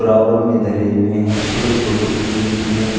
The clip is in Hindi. बराबर में धरे हुए हैं छोटे छोटे पीले पीले--